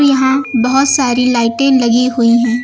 यहां बहुत सारी लाइटें लगी हुई हैं।